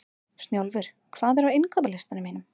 Snjólfur, hvað er á innkaupalistanum mínum?